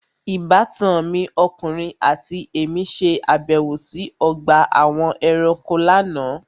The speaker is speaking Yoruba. Ìbátan mi ọkùnrin àti èmí ṣe àbẹ̀wò sí ọgbà àwọn ẹranko lánàá.